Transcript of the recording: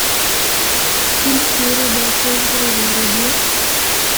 фильм теория большого взрыва вруби